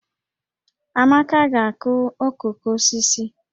Amaka ga-akụ okooko osisi